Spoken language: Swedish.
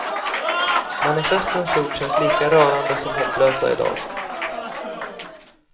Manifestens ord känns lika rörande som hopplösa i dag.